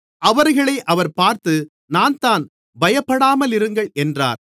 அவர்களை அவர் பார்த்து நான்தான் பயப்படாமலிருங்கள் என்றார்